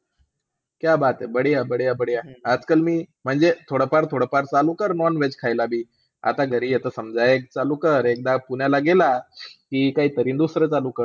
क्या बात हि बढीया बढीया आजकाल मी म्हणजे थोडंफार थोडंफार चालू कर non-veg खायला बी. आता जरी egg चालू कर. एकदा पुण्याला गेला की काहीतरी दुसरं चालू कर.